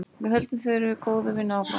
Við höldum þeirri góðu vinnu áfram.